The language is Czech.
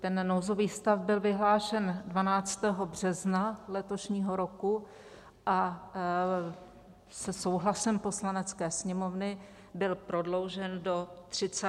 Ten nouzový stav byl vyhlášen 12. března letošního roku a se souhlasem Poslanecké sněmovny byl prodloužen do 30. dubna.